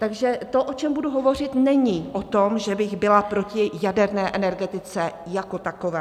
Takže to, o čem budu hovořit, není o tom, že bych byla proti jaderné energetice jako takové.